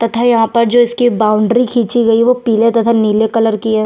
तथा यहाँ पर जो इसकी बाउंड्री खींची गई है वो पिले तथा नीले कलर की हैं।